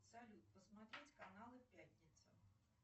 салют посмотреть каналы пятница